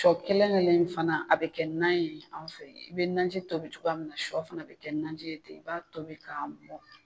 Shɔ kelen kelen in fana a bɛ kɛ nan ye anw fɛ i bɛ nanji tobi cogoya min na shɔ fana bɛ kɛ nanji ye ten i b'a tobi ka mɔn.